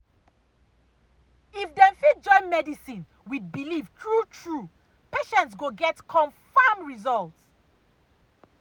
if dem fit join medicine with belief true true patients go get confam results.